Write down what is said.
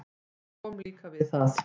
Ég kom líka við það.